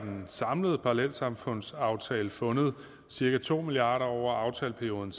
samlede parallelsamfundsaftale fundet cirka to milliard kroner over aftaleperioden